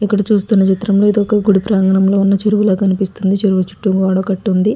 ఇక్కడ చూస్తున చిత్రంలో ఇది ఒక్క గుడి ప్రాంగణంలో ఉన్న చెరువుల కనిపిస్తుంది. చెరువు చుట్టూ గోడ కటి ఉంది.